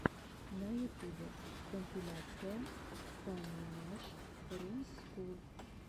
на ютубе компиляция фаннимашрумсскул